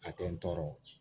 A tɛ n tɔɔrɔ